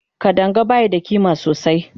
Kadanga bayi da ƙima sosai